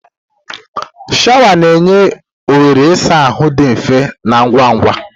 Shawa na-enye nhọrọ ịsa ahụ dị mfe na ngwa ngwa.